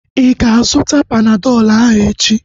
Ịga azụta Panadọl ahu echi?